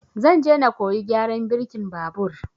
Zan je na koyi gyaran birkin babur